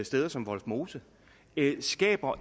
steder som vollsmose skaber